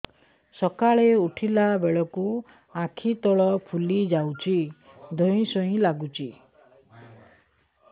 ସକାଳେ ଉଠିଲା ବେଳକୁ ଆଖି ତଳ ଫୁଲି ଯାଉଛି ଧଇଁ ସଇଁ ଲାଗୁଚି